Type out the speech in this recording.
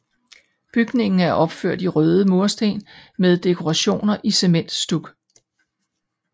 Bygningen er opført i røde mursten med dekorationer i cementstuk